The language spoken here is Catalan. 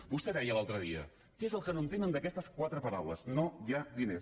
vostè deia l’altre dia què és el que no entenen d’aquestes quatre paraules no hi ha diners